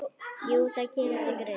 Jú, það kemur til greina.